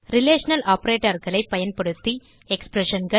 relational operatorகளை பயன்படுத்தி expressionகள்